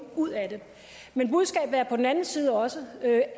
ud af det men budskabet er på den anden side også